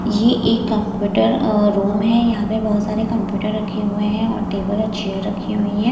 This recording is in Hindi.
ये एक कंप्यूटर अ रूम है यहां पे बहोत सारे कंप्यूटर रखे हुए हैं और टेबल और चेयर रखी हुई हैं।